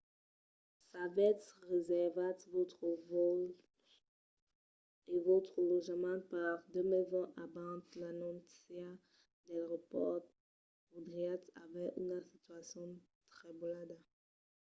s'avètz reservat vòstres vòls e vòstre lotjament per 2020 abans l'anóncia del repòrt podriatz aver una situacion trebolada